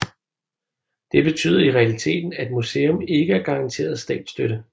Det betyder i realiteten at et museum ikke er garanteret statsstøtte